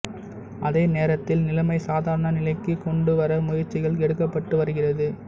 அதே நேரத்தில் நிலைமை சாதாரண நிலைக்குக் கொண்டுவர முயற்சிகள் எடுக்கப்பட்டு வருகிறது